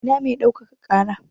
Ina mai ɗaukaka ƙara?